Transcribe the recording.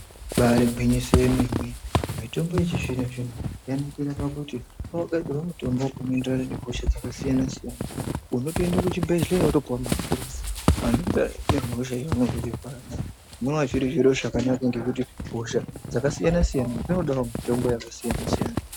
Ibairi ngwinyiso yemene mitombo yechi zvino zvino yanakira pakuti kwaku gadzirwa mutombo uno enderana ne hosha dzaka siyana siyana unotoende ku chibhedhleya woto puwa mapirisi ano enderana ne hosha yaunenge uchi rwara nayo zvinova zviri zviro zvakanaka ngekuti hosha dzaka siyana siyana dzinodawo mitombo yaka siyana siyana.